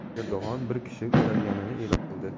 Erdo‘g‘an bir kishi ushlanganini e’lon qildi.